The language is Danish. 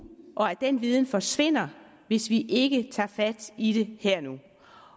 og at den viden forsvinder hvis vi ikke tager fat i det her